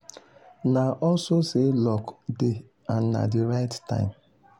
na also say luck dey and na the right time.